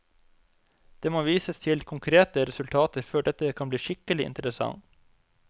Det må vises til konkrete resultater før dette kan bli skikkelig interessant.